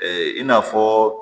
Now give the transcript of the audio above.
i n'a fɔ